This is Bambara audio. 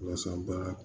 Walasa baara